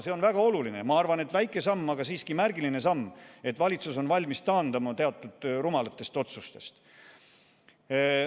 See on väga oluline ja ma arvan, et kuigi see on väike samm, on siiski märgiline, et valitsus on valmis taanduma teatud rumalatest otsustest.